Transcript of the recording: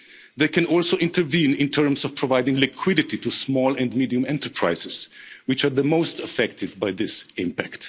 shock. They can also intervene in terms of providing liquidity to small and medium enterprises, which are the most affected by this